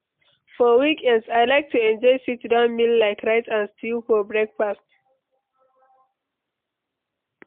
For weekends, I like to enjoy sit-down meal like rice and stew for breakfast.